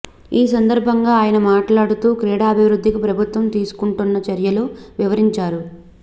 ఈ సందర్భంగా ఆయన మాట్లాడుతూ క్రీడాభివృద్ధికి ప్రభుత్వం తీసుకుంటున్న చర్యలను వివరించారు